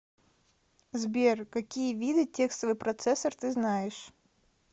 сбер какие виды текстовый процессор ты знаешь